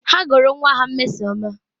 Ha gụrụ nwa ha Mmesoma